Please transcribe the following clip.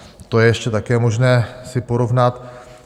To je ještě také možné si porovnat.